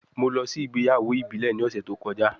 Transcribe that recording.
Mo lọ si igbeyawo ibile ni ọsẹ to kọja